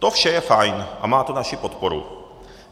To vše je fajn a má to naši podporu.